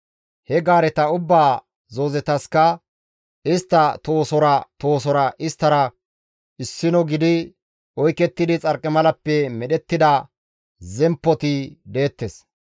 He gaareta ubbaa zoozetaska istta tohosora tohosora isttara issino gidi oykettidi xarqimalappe medhettida zemppoti deettes.